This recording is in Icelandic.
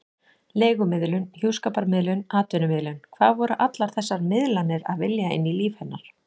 Leigumiðlun, hjúskaparmiðlun, atvinnumiðlun: hvað voru allar þessar miðlanir að vilja inn í líf hennar?